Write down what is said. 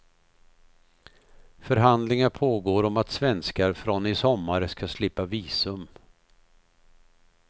Förhandlingar pågår om att svenskar från i sommar ska slippa visum.